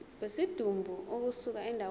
kwesidumbu ukusuka endaweni